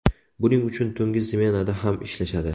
Buning uchun tungi smenada ham ishlashadi.